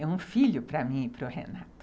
É um filho para mim e para o Renato.